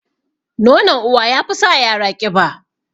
Nonon uwa yafi sa yara ƙiba